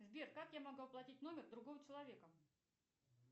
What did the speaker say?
сбер как я могу оплатить номер другого человека